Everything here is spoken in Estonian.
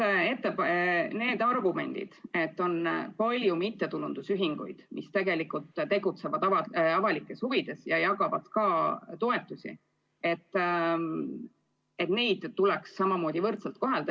Jah, ongi välja käidud argumendid, et on palju mittetulundusühinguid, kes tegelikult tegutsevad avalikes huvides ja jagavad ka toetusi, ning et neid tuleks samamoodi kohelda.